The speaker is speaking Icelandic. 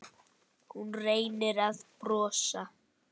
Hún reynir að brosa.